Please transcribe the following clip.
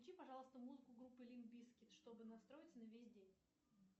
включи пожалуйста музыку группы лимп бизкит чтобы настроиться на весь день